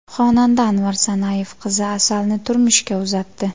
Xonanda Anvar Sanayev qizi Asalni turmushga uzatdi.